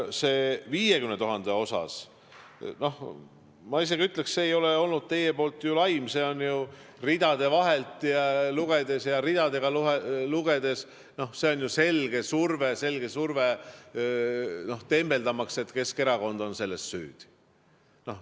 Selle 50 000 kohta ma isegi ütleksin, et see ei ole olnud teie poolt ju laim, ridade vahelt lugedes ja ridu lugedes see on ju selge surve, tembeldamaks Keskerakonda selles süüdi.